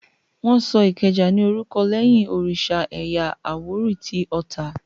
Wọ́n Ìkẹjà ní orúkọ lẹ́yìn òrìsà ẹ̀yà àwórì tí Ota